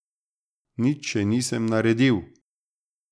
Nič še nisem naredil.